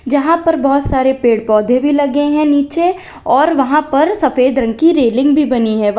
जहां पर बहोत सारे पेड़ पौधे भी लगे हैं नीचे और वहां पर सफेद रंग की रेलिंग भी बनी है वा--